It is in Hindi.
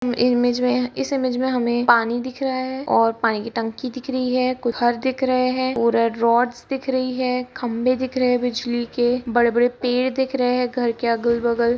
इ इमेज इस इमेज में हमे पानी दिख रहा है और पानी की टंकी दिख रही है घर दिख रहे है उधर रॉड्स दिख रही है खंभे दिख रहे है बिजली के बड़े-बड़े पेड़ दिख रहे घर के अगल-बगल।